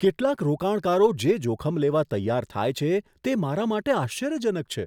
કેટલાક રોકાણકારો જે જોખમ લેવા તૈયાર થાય છે, તે મારા માટે આશ્ચર્યજનક છે.